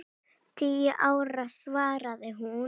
Tíu ára, svaraði hún.